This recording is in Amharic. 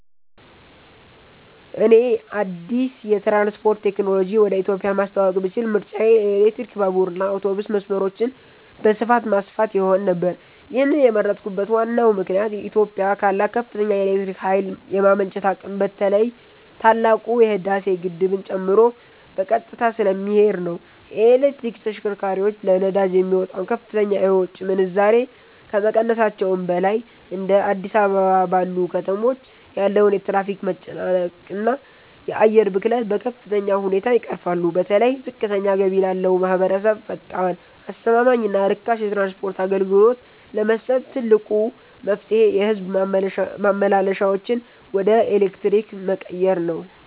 እኔ አዲስ የትራንስፖርት ቴክኖሎጂ ወደ ኢትዮጵያ ማስተዋወቅ ብችል ምርጫዬ የኤሌክትሪክ ባቡርና አውቶቡስ መስመሮችን በስፋት ማስፋፋት ይሆን ነበር። ይህንን የመረጥኩበት ዋናው ምክንያት ኢትዮጵያ ካላት ከፍተኛ የኤሌክትሪክ ኃይል የማመንጨት አቅም በተለይ ታላቁ የህዳሴ ግድብን ጨምሮ በቀጥታ ስለሚሄድ ነው። የኤሌክትሪክ ተሽከርካሪዎች ለነዳጅ የሚወጣውን ከፍተኛ የውጭ ምንዛሬ ከመቀነሳቸውም በላይ፤ እንደ አዲስ አበባ ባሉ ከተሞች ያለውን የትራፊክ መጨናነቅና የአየር ብክለት በከፍተኛ ሁኔታ ይቀርፋሉ። በተለይ ዝቅተኛ ገቢ ላለው ማኅበረሰብ ፈጣን፣ አስተማማኝና ርካሽ የትራንስፖርት አገልግሎት ለመስጠት ትልቁ መፍትሔ የሕዝብ ማመላለሻዎችን ወደ ኤሌክትሪክ መቀየር ነው።